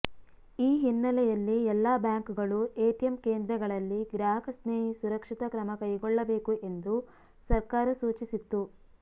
ಈ ಹಿನ್ನೆಲೆಯಲ್ಲಿ ಎಲ್ಲ ಬ್ಯಾಂಕ್ಗಳು ಎಟಿಎಂ ಕೇಂದ್ರಗಳಲ್ಲಿ ಗ್ರಾಹಕಸ್ನೇಹಿ ಸುರಕ್ಷತಾ ಕ್ರಮಕೈಗೊಳ್ಳಬೇಕು ಎಂದು ಸರ್ಕಾರ ಸೂಚಿಸಿತ್ತು